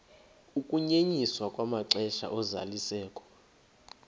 ukunyenyiswa kwamaxesha ozalisekiso